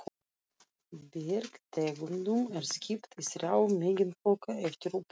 Bergtegundum er skipt í þrjá meginflokka eftir uppruna